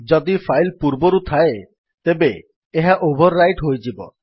ଯଦି ଫାଇଲ୍ ପୂର୍ବରୁ ଥାଏ ତେବେ ଏହା ଓଭର୍ ରାଇଟ୍ ହୋଇଯିବ